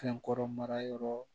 Fɛn kɔrɔ mara yɔrɔ